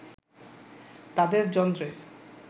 তাদের যন্ত্রে